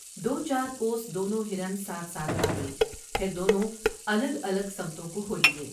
دو چارکوس دونوں ہرن ساتھ ساتھ بھاگے پھر دونوں الگ الگ سمتوں کو ہولیے ۔